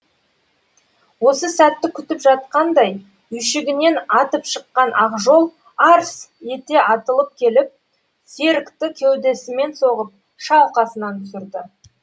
осы сәтті күтіп жатқандай үйшігінен атып шыққан ақжол арс етеатылып келіп серікті кеудесімен соғып шалқасынан түсірді